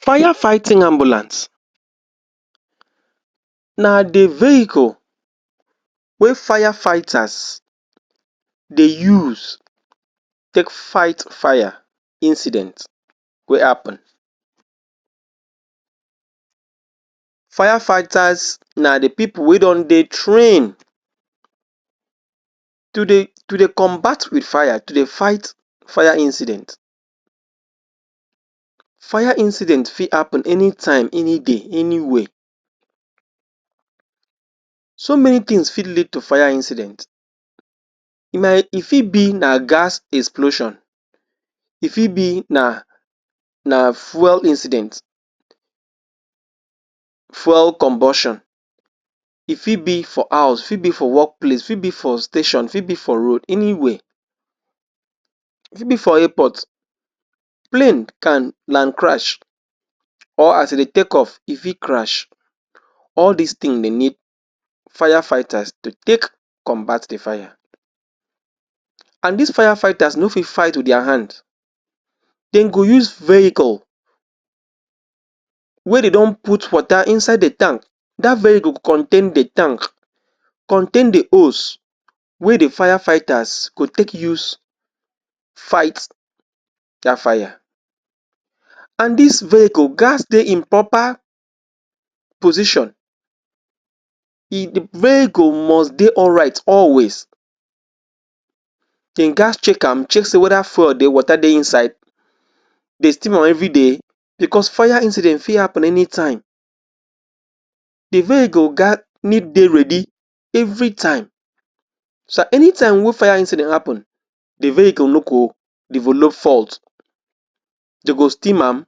Fire fighting ambulance na the vehicle wey fire fighters dey use take fight fire incident wey happen. Fire fighters na the people wey don dey train to dey to dey combat wit fire, to dey fight fire incident. Fire incident fi happen anytime, any day, anywhere. So many things fit lead to fire incident. E fit be na gas explosion, e fit be na na fwel incident, fwel combustion, e fit be for house, e fit be workplace, e fit be for station, e fit be for road, anywhere. E fit be for airport, plane can land crash or as e dey take off e fit crash. All dis thing dey need fire fighters to take combat the fire. And these fire fighters no fit fight wit their hand. Dem go use vehicle wey dey don put water inside the tank. Dat vehicle go contain the tank, contain the hose wey the fire fighters go take use fight dat fire and dis vehicle ghats dey in proper position. vehicle must dey alright always, dey ghats check am check sey whether fwel dey, water dey inside Dey steam am everyday because fire incident fi happen anytime. The vehicle need dey ready every time. So anytime wey fire incident happen the vehicle no go develop fault, dem go steam am.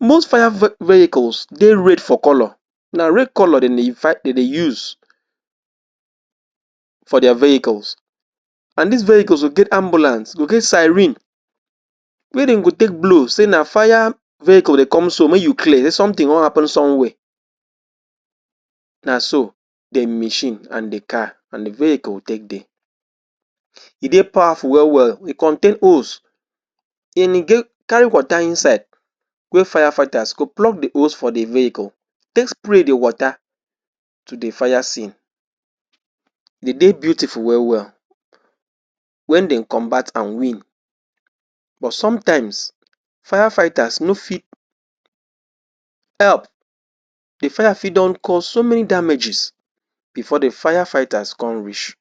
Most fire vehicles dey red for color na red color dem dey use for their vehicles and dis vehicles go get ambulance, go get siren wey dem go take blow say “na fire vehicle dey come so, mey you clear, sey something wan happen somewhere”. Na so dem machine and the car and the vehicle take dey. E dey powerful well well, e contain hose and e carry water inside wey fire fighters go plug the hose for the vehicle, take spray the water to the fire scene, e dey beautiful well well wen den combat and win but sometimes, fire fighters no fit help. The fire fit don cause so damages before the fire fighters come reach.